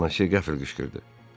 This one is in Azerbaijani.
Bonasi qəfil qışqırdı.